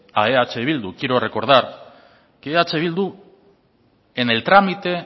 a eh bildu quiero recordar que eh bildu en el trámite